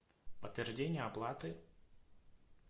подтверждение оплаты